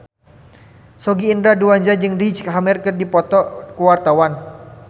Sogi Indra Duaja jeung Riz Ahmed keur dipoto ku wartawan